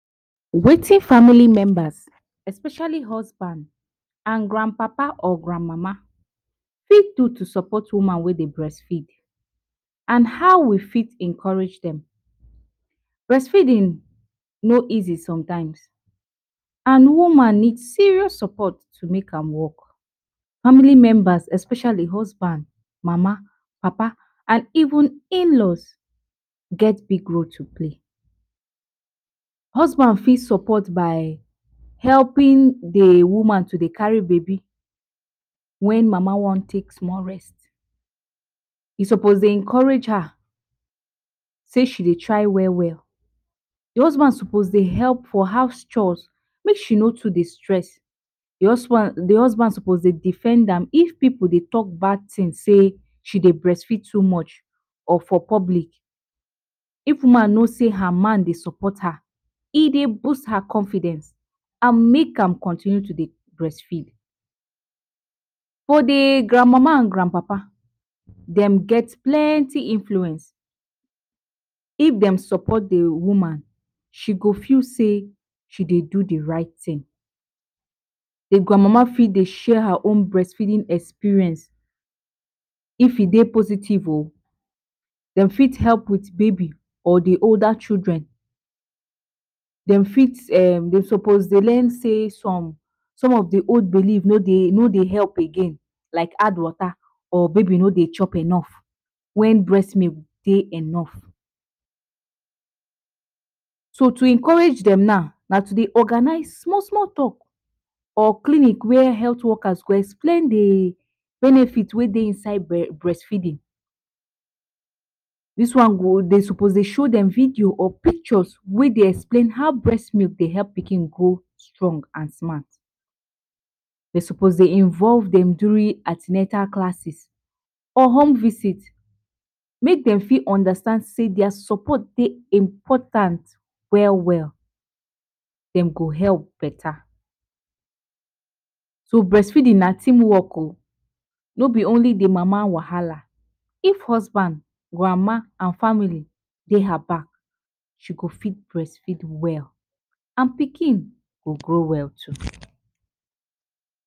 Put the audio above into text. Wetin family members, especially husbands and grand papa and grand mama fit do to support woman wey dey breastfeed and how we fit encourage dem. Breastfeeding no easy sometimes, and woman need serious support to make am work, family members especially husband, mama, papa and even in-laws, get big role to play. Husband fit support by helping dey woman to de carry babi when mama wan take small rest e suppose dey encourage her sey she de try well well, dey husband suppose dey help for house chaos make she no too dey stress. D husband suppose dey defend am if pipu dey talk bad thing say she dey breastfeed too much or for public, if woman no say her man dey support her e dey boost her confidence and make am continue to de breastfeed. For d grand mama and grand papa dem get plenty influence, if dem support d woman she go feel say she dey do d right thing. De grand mama fit dey share her own breastfeeding experience if e dey positive o dem fit help with babi or d older children dem dem fit um suppose dey learn say some of de old belief no dey help again like add water or make baby no dey chop enough wen breast milk dey enough, so to encourage dem now, na to organize small small talk or clinic whey health workers go explain de benefit wey dey inside breastfeeding dis one go dem suppose show dem video or pictures whey dey explain how breast milk dey help pikin strong and smart, de suppose dey involve dem during classes or home visit make dem fit understand sey their support dey important well well, dem go help beta so breastfeeding na team work o, no be only de mama wahala if husband grandma and family dey her back she go fit breastfeed well and pikin go grow well too.